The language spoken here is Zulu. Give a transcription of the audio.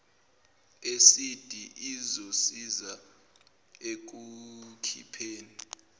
esidi izosiza ekukhipheni